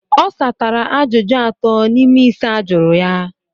Ọ satara ajụjụ atọ n'ime ise ajụrụ ya.